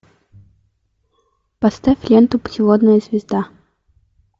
поставь ленту путеводная звезда